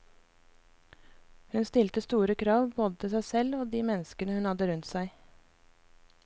Hun stilte store krav både til seg selv og de menneskene hun hadde rundt seg.